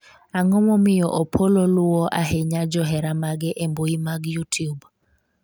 ang'o momiyo Opollo luwo ahinya johera mage e mbui mag youtube?